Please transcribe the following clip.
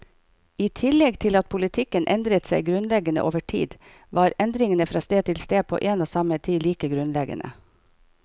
I tillegg til at politikken endret seg grunnleggende over tid, var endringene fra sted til sted på en og samme tid like grunnleggende.